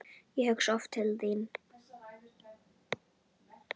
Ég hugsa oft til þín.